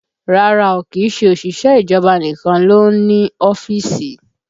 Rárá o, kìí ṣe òṣìṣẹ́ ìjọba nìkan ló ń ní ọ́fíìsì